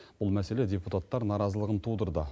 бұл мәселе депутаттар наразылығын тудырды